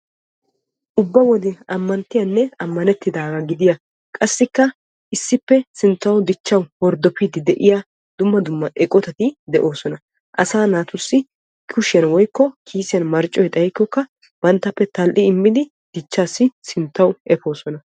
ubba wode ammanttiyanne ammanettiidaaga gidiyaa issippe sinttaw horddopiidi de'iyaa dumma dumma eqotatti de'oosona. asaa naatussi kushiyan woykko kiisiyan marccoy xaykkoka banttappe tal''i immidi dichchassi sinttaw efoosona.